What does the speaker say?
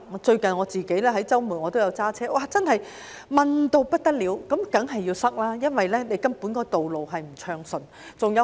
最近我在周末駕車外出，道路真是狹窄到不得了，當然會擠塞，因為道路根本不暢順。